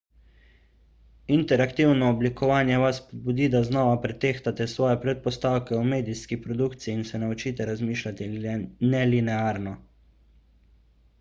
interaktivno oblikovanje vas spodbudi da znova pretehtate svoje predpostavke o medijski produkciji in se naučite razmišljati nelinearno